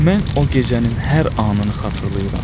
Mən o gecənin hər anını xatırlayıram.